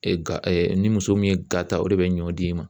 ga e ni muso min ye gata o de be ɲɔ d'i ma.